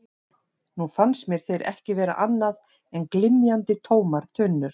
Nú fannst mér þeir ekki vera annað en glymjandi, tómar tunnur.